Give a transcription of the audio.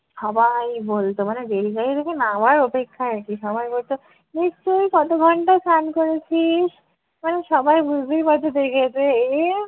সবাই বলতো মানে rail গাড়ি থেকে নামার অপেক্ষা আর কী। সবাই বলতো নিশ্চয় ই কত ঘন্টা স্নান করেছিস? মানে সবাই বুঝতেই পারতো যে